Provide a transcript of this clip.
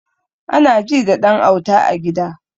Anaji da ɗan auta a gida